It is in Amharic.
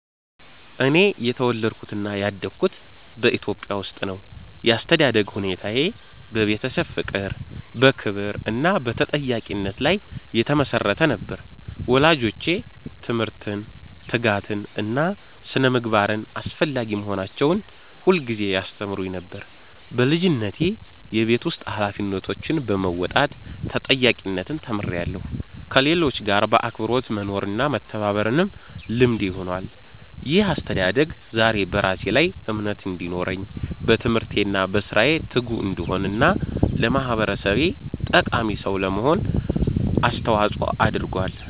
እኔ የተወለድኩትና ያደግኩት በኢትዮጵያ ውስጥ ነው። ያስተዳደግ ሁኔታዬ በቤተሰብ ፍቅር፣ በክብር እና በተጠያቂነት ላይ የተመሰረተ ነበር። ወላጆቼ ትምህርትን፣ ትጋትን እና ስነ-ምግባርን አስፈላጊ መሆናቸውን ሁልጊዜ ያስተምሩኝ ነበር። በልጅነቴ የቤት ውስጥ ኃላፊነቶችን በመወጣት ተጠያቂነትን ተምሬያለሁ፣ ከሌሎች ጋር በአክብሮት መኖርና መተባበርም ልምዴ ሆኗል። ይህ አስተዳደግ ዛሬ በራሴ ላይ እምነት እንዲኖረኝ፣ በትምህርቴ እና በሥራዬ ትጉ እንድሆን እና ለማህበረሰቤ ጠቃሚ ሰው ለመሆን አስተዋጽኦ አድርጓል።